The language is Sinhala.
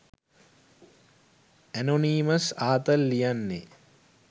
ඇනොනීමස් ආතල් ලියන්නේ